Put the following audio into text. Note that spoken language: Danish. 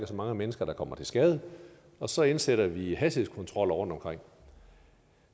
så mange mennesker der kommer til skade og så indsætter vi hastighedskontroller rundtomkring